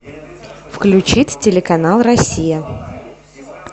включить телеканал россия